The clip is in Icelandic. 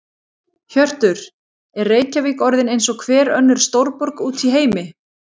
Hjörtur: Er Reykjavík orðin eins og hver önnur stórborg út í heimi?